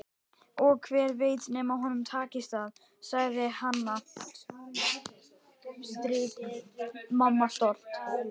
Og hver veit nema honum takist það, sagði Hanna-Mamma stolt.